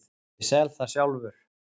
Ég sel það sjálfur.